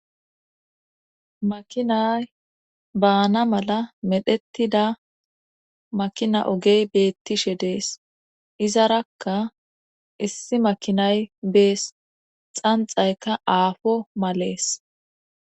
Makinay baana mala medhettida makina ogey beettishe dees izarakka issi makinay bees xanxayka aafo malees.